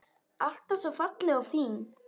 Alltaf svo falleg og fín.